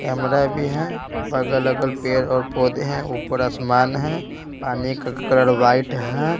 Camera भी है बगल अगल पेड़ और पौधे हैं ऊपर आसमान है पानी का कलर वाइट है।